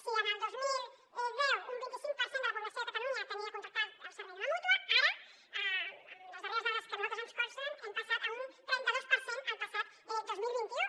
si el dos mil deu un vint i cinc per cent de la població de catalunya tenia contractat el servei d’una mútua ara amb les darreres dades que a nosaltres ens consten hem passat a un trenta dos per cent el passat dos mil vint u